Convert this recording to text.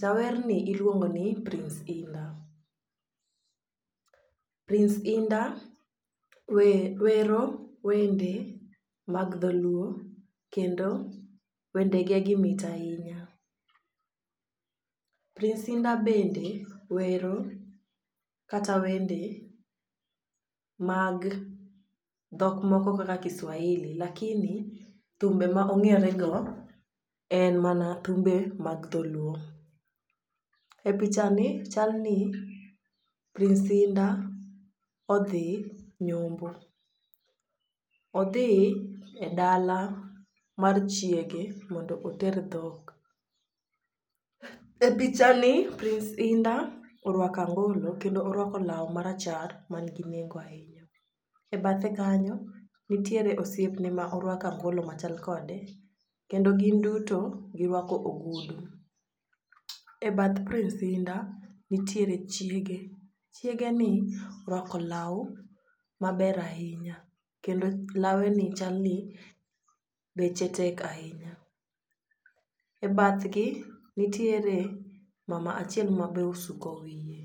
jawer ni iluongo ni prince Hinda. Prince Hinda we wero wende mag dholuo kendo wende ge gi mit ahinya. Prince Hinda bende wero kata wende mag dhok moko kaka kiswahili lakini thumbe ma ong'ere go en mana thumbe mag dholuo. E picha ni chal ni prince Hinda odhi nyombo, odhi e dala mar chiege mondo oter dhok. E picha ni Prince Hinda orwako angolo kendo orwako law marachar man gi nengo ahinya ebathe kanyo nitiere oseipene ma owrako angolo machal kode kendo gin duto girwako ogudu. E bath Prince Hinda nitiere chiege chiege ni orwako law maber ahinya kendo lawe ni chal ni beche tek ahinya. E bathgi nitiere mama achiel ma be osuko wiye .